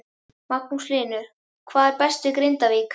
Magnús Hlynur: Hvað er best við Grindavík?